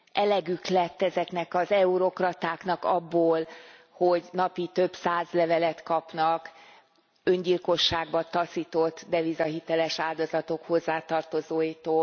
Elegük lett ezeknek az eurokratáknak abból, hogy napi több száz levelet kapnak öngyilkosságba taszított devizahiteles áldozatok hozzátartozóitól.